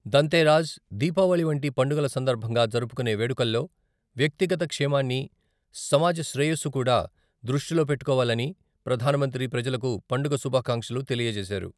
దంతెరస్, దీపావళి వంటి పండుగల సందర్భంగా జరుపుకునే వేడుకల్లో వ్యక్తిగత క్షేమాన్ని, సమాజ శ్రేయస్సు కూడా దృష్టిలో పెట్టుకోవాలని ప్రధానమంత్రి ప్రజలకు పండుగ శుభాకాంక్షలు తెలియజేశారు.